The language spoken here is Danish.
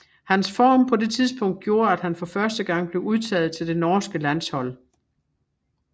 Hans form på det tidspunkt gjorde at han for første gang blev udtaget til det norske landshold